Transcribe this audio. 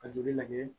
Ka joli lajɛ